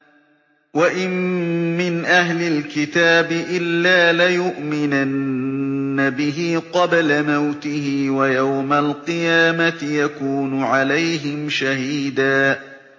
وَإِن مِّنْ أَهْلِ الْكِتَابِ إِلَّا لَيُؤْمِنَنَّ بِهِ قَبْلَ مَوْتِهِ ۖ وَيَوْمَ الْقِيَامَةِ يَكُونُ عَلَيْهِمْ شَهِيدًا